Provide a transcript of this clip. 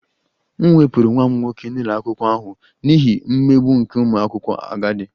M wepụrụ nwa m nwoke n'ụlọ akwụkwọ ahụ n'ihi mmegbu nke ụmụ akwụkwọ agadi